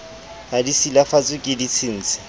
ha di silafatswe ke ditshintshi